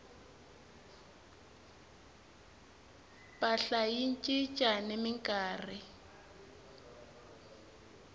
mpahla yi cinca ni minkarhi